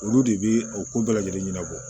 Olu de bi o ko bɛɛ lajɛlen ɲɛnabɔ